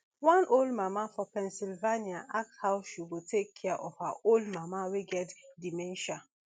one young mama for pennsylvania ask how she go take care of her old mama wey get dementia